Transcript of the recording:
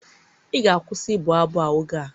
ị ga-akwụsị ịbụ abụ oge a!